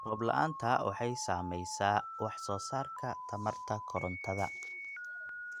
Roob la'aanta waxay saamaysaa wax soo saarka tamarta korontada.